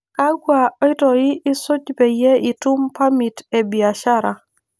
Kakwa oitoi isuj peyie itum parmit ebiashara?